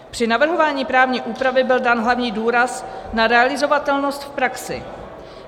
Při navrhování právní úpravy byl dán hlavní důraz na realizovatelnost v praxi.